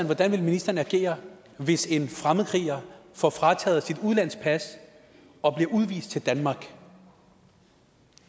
hvordan vil ministeren agere hvis en fremmedkriger får frataget sit udenlandske pas og bliver udvist til danmark